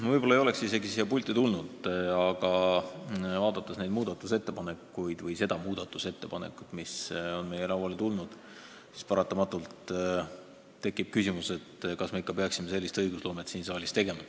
Ma võib-olla ei oleks siia pulti tulnud, aga vaadates seda muudatusettepanekut, mis on meie lauale tulnud, tekkis mul paratamatult küsimus, kas me ikka peaksime sellist õigusloomet siin saalis tegema.